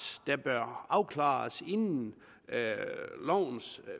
bør afklares inden lovens